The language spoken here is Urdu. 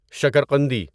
شکر قندی